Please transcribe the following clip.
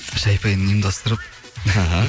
шәй пәйін ұйымдастырып іхі